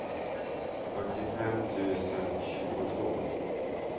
fyrtiofem tusen tjugotvå